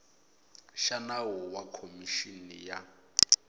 xa nawu wa khomixini ya